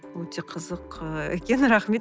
өте қызық ы екен рахмет